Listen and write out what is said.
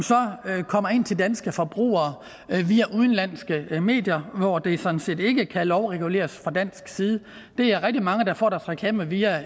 kommer ind til danske forbrugere via udenlandske medier hvor det sådan set ikke kan lovreguleres fra dansk side det er rigtig mange der får deres reklamer via